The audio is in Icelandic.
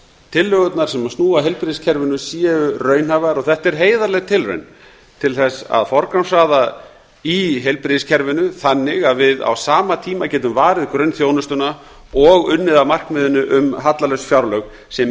tillögurnar sem snúa að heilbrigðiskerfinu séu raunhæfar þetta er heiðarleg tilraun til að forgangsraða í heilbrigðiskerfinu þannig að við á sama tíma getum varið grunnþjónustuna og unnið að markmiðinu um hallalaus fjárlög sem